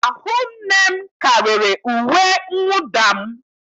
Ahụ nne m karịrị uwe mwụda m.